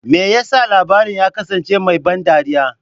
Me yasa labarin ya kasance mai ban dariya?